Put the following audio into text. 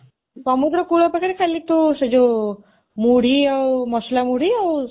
ସମୁଦ୍ର କୂଳ ପାଖରେ ଖାଲି ତୁ, ସେ ଯୋଉ, ମୁଢ଼ି ଆଉ ମସଲା ମୁଢ଼ି ଆଉ